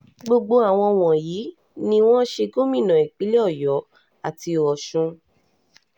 gbogbo àwọn wọ̀nyí ni wọ́n ṣe gómìnà ìpínlẹ̀ ọ̀yọ́ àti ti ọ̀sùn